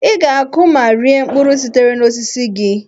Ị ga-akụ ma rie mkpụrụ sitere n'osisi gị.